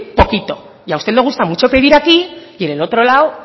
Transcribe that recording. poquito y a usted le gusta mucho pedir aquí y en el otro lado